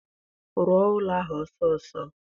Rụọ ụlọ ahụ ọsọọsọ!